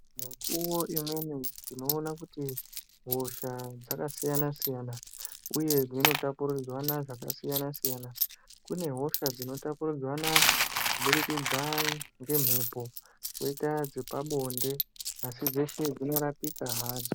Mikuvo imweni tinoona kuti hosha dzakasiyana-siyana, uye dzinotapurirwana zvakasiyana-siyana. Kune hosha dzinotapurirwana kubudikidza ngemhepo koita dzepabonde, asi dzeshe dzinorapika hadzo.